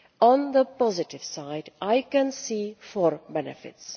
On the positive side, I can see four benefits.